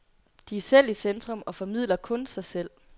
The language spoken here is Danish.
De er selv i centrum og formidler kun sig selv.